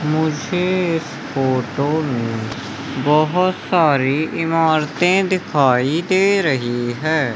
मुझे इस फोटो में बहोत सारी इमारतें दिखाई दे रही है।